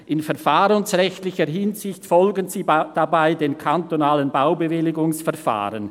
In verfahrensrechtlicher Hinsicht folgen sie dabei dem kantonalen Baubewilligungsverfahren.